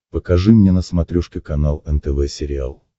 покажи мне на смотрешке канал нтв сериал